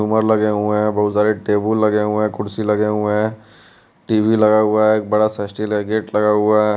झूमर लगे हुए है बहुत सारे टेबुल लगे हुए है कुर्सी लगे हुए है टी_वी लगा हुआ है एक बड़ा सा स्टील का गेट लगा हुआ--